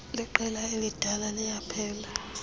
leqela elidala liyaphela